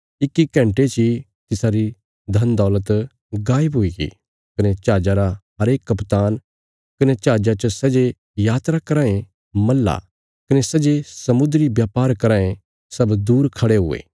इक्की घण्टे ची तिसारी धनदौलत गायब हुईगी कने जहाजा रा हरेक कप्तान कने जहाजा च सै जे यात्रा कराँ ये मल्लाह कने सै जे समुद्री ब्यापार कराँ ये सब दूर खड़े हुये